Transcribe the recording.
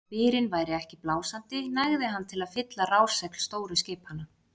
Þó byrinn væri ekki blásandi nægði hann til að fylla rásegl stóru skipanna.